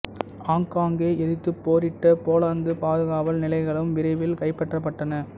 ஆங்காங்கே எதிர்த்துப் போரிட்ட போலந்துப் பாதுகாவல் நிலைகளும் விரைவில் கைப்பற்றப்பட்டன